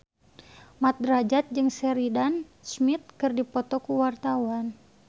Mat Drajat jeung Sheridan Smith keur dipoto ku wartawan